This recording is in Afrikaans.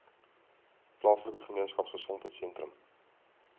plaaslike gemeenskapgesondheid sentrum